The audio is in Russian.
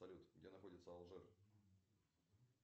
салют где находится алжир